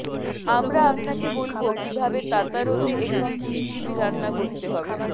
আমরা আপনাকে বলব কিভাবে তাতারতে একটি কিস্টিবি রান্না করতে হবে